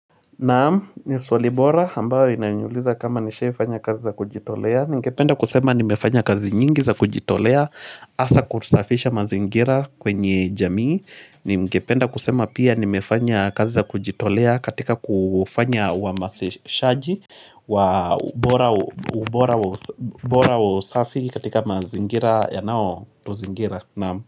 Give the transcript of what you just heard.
Naam, ni swali bora ambayo inaniuliza kama nishawaifanya kazi za kujitolea Ningependa kusema nimefanya kazi nyingi za kujitolea hasa kusafisha mazingira kwenye jamii ni ngependa kusema pia nimefanya kazi za kujitolea katika kufanya uhamasishaji wa ubora wa usafiki katika mazingira yanao tuzingira Naam.